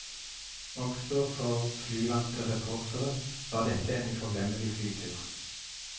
Også for flyvante reportere var dette en uforglemmelig flytur.